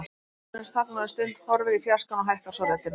Jóhannes þagnar um stund, horfir í fjarskann og hækkar svo röddina.